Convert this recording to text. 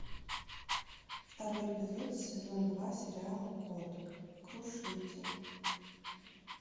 второй эпизод сезон два сериала код крушитель